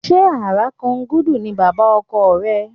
Ṣé Àràkangúdù ni bàbá ọkọ rẹ?